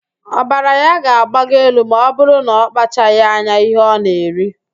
Ọbara ya ga-agbago elu ma ọbụrụ na ọkpachaghị anya ihe ọ na-eri